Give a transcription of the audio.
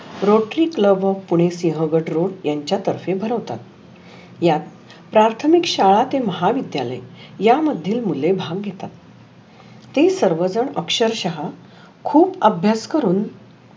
rotary club of pune Sinhagad road यांच्या तर्फे भरवतात. या प्राथमिक शाळा ते महाविद्याले या मध्ये मुले भाग घेतात. ते सर्व झन अक्षरशाहा खुप अभ्यास करुण